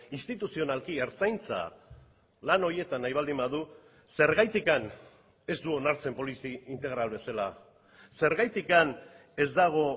instituzionalki ertzaintza lan horietan nahi baldin badu zergatik ez du onartzen polizi integral bezala zergatik ez dago